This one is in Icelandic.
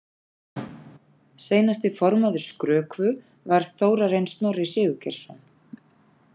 Seinasti formaður Skrökvu var Þórarinn Snorri Sigurgeirsson.